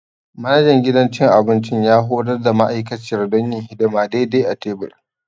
Manajan gidan cin abinci ya horar da ma'aikaciyar don yin hidima daidai a tebur.